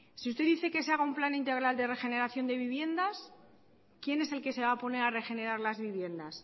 si usted dice que se haga un plan integral de regeneración de viviendas quién es el que se va a poner a regenerar las viviendas